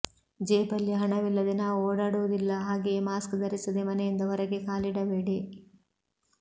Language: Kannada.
ಜೇಬಲ್ಲಿ ಹಣವಿಲ್ಲದೆ ನಾವು ಓಡಾಡುವುದಿಲ್ಲ ಹಾಗೆಯೆ ಮಾಸ್ಕ್ ಧರಿಸದೆ ಮನೆಯಿಂದ ಹೊರಗೆ ಕಾಲಿಡಬೇಡಿ